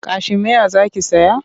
Kashimeya za ki saya?